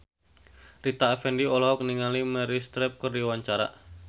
Rita Effendy olohok ningali Meryl Streep keur diwawancara